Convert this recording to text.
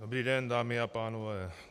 Dobrý den dámy a pánové.